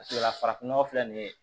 Paseke la farafin nɔgɔ filɛ nin ye